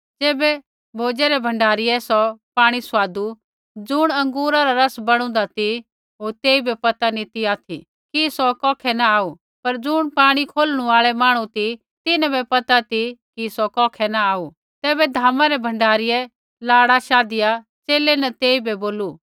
ज़ैबै भोजे रै भण्डारीऐ सौ पाणी स्वादु ज़ुण अँगूरा रा रस बणुदा ती होर तेइबै पता नी ती ऑथि कि सौ कौखै न आऊ पर ज़ुणा पाणी खोलणु आऐ मांहणु ती तिन्हां वै पता ती कि सौ कौखै न आऊ तैबै भोजा रै भण्डारीऐ लाड़ा शाधिया च़ेले न तेइबै बोलू